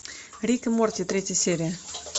рик и морти третья серия